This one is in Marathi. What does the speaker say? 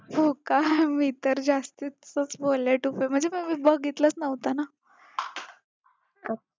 हो का, मी तर जास्तीचं म्हणजे कधी मी बघितलंच नव्हतं ना.